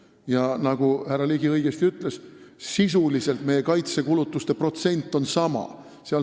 Ja nagu härra Ligi õigesti ütles, sisuliselt on meie kaitsekulutuste protsent sama.